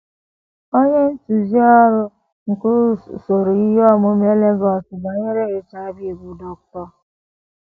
Onye ntụzi ọrụ nke usoro ihe omume Lagos banyere HIV / AIDS, bụ́ Dr.